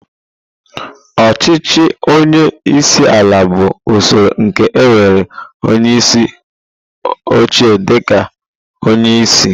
Ọchịchị onye isi ala bụ usoro nke nwere onyeisi oche dịka onye isi.